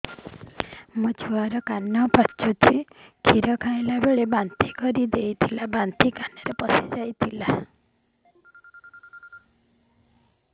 ମୋ ଛୁଆ କାନ ପଚୁଛି କ୍ଷୀର ଖାଇଲାବେଳେ ବାନ୍ତି କରି ଦେଇଥିଲା ବାନ୍ତି କାନରେ ପଶିଯାଇ ଥିଲା